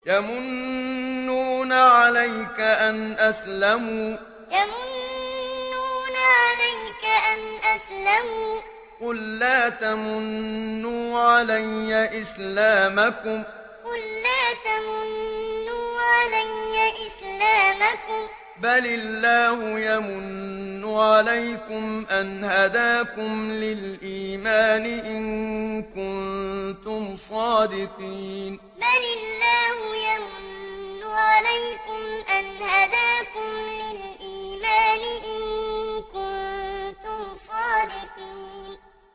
يَمُنُّونَ عَلَيْكَ أَنْ أَسْلَمُوا ۖ قُل لَّا تَمُنُّوا عَلَيَّ إِسْلَامَكُم ۖ بَلِ اللَّهُ يَمُنُّ عَلَيْكُمْ أَنْ هَدَاكُمْ لِلْإِيمَانِ إِن كُنتُمْ صَادِقِينَ يَمُنُّونَ عَلَيْكَ أَنْ أَسْلَمُوا ۖ قُل لَّا تَمُنُّوا عَلَيَّ إِسْلَامَكُم ۖ بَلِ اللَّهُ يَمُنُّ عَلَيْكُمْ أَنْ هَدَاكُمْ لِلْإِيمَانِ إِن كُنتُمْ صَادِقِينَ